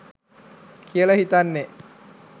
කියලා හිතන්නේ.